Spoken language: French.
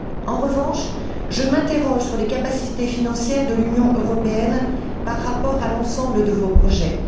En revanche, je m'interroge sur les capacités financières de l'Union européenne par rapport à l'ensemble de vos projets.